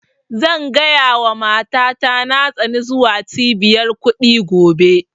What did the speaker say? Zan gaya wa mata ta na tsani zuwa cibiyar kuɗi gobe